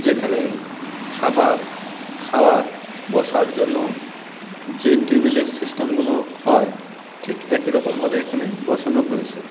যেখানে খাবার খাওয়ার বসার জন্য যে টেবিল -এর সিস্টেম -গুলো হয় ঠিক একই রকম ভাবে এখানে বসানো হয়েছে।